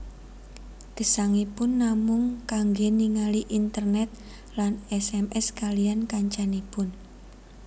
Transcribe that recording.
Gesangipun namung kangge ningali internet lan sms kaliyan kancanipun